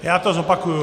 Já to zopakuji.